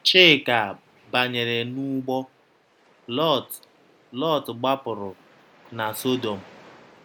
Chika banyere n’ụgbọ; Lọt; Lọt gbapụrụ na Sọdọm.